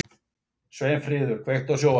Sveinfríður, kveiktu á sjónvarpinu.